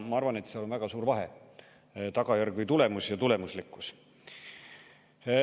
Ma arvan, et seal on väga suur vahe – tagajärg või tulemus ja tulemuslikkus.